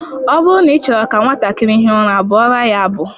Ọ bụrụ na ị chọrọ ka nwatakịrị hie ụra, bụụrụ ya abụ